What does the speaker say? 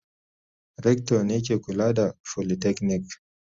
Rector ne ke kula da folytechnic.